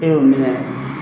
E y'o minɛ